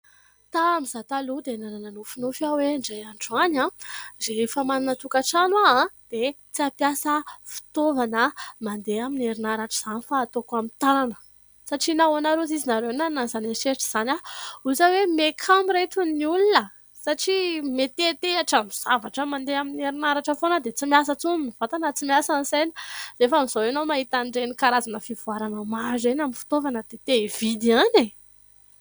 Tamin' ny za taloha dia nanana nofinofy aho hoe : indray andro any aho rehefa manana tokantrano dia tsy ampiasa fitaovana mandeha amin' ny herinaratra izany fa hataoko amin' ny tanana satria nahoana ary ozy izy nareo nanana an' izany eritreritra izany aho ? Ozy aho hoe mihakamo ry reto ny olona satria mianteantehatra zavatra mandeha amin' ny herinaratra foana dia tsy miasa intsony ny vatana, tsy miasa ny saina nefa amin' izao ianao mahita an' ireny karazana fivoarana maro ireny amin' ny fitovana dia te-hividy ihany e !